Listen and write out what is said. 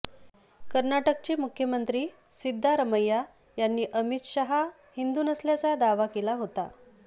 कर्नाटक चे मुख्यमंत्री सिद्धारमैया यांनी अमित शहा हिंदू नसल्याचा दावा केला होता